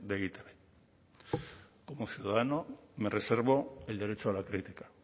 de e i te be como ciudadano me reservo el derecho a la crítica